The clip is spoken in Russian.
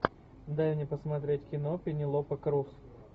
дай мне посмотреть кино пенелопа крус